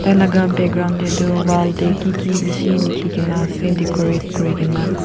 tailaga background teh toh wall teh kiki beshi likikina ase decorate kurikina.